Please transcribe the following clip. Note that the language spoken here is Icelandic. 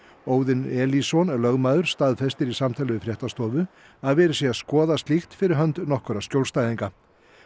Óðinn Elísson lögmaður staðfestir í samtali við fréttastofu að verið sé að skoða slíkt fyrir hönd nokkurra skjólstæðinga